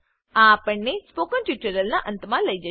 આ આપણને સ્પોકન ટ્યુટોરીયલના અંતમાં લઇ જશે